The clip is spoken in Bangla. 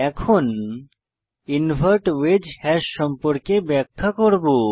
এখন ইনভার্ট ওয়েজ হ্যাশ সম্পর্কে ব্যাখ্যা করব